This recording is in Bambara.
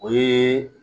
O ye